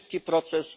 Szybki proces.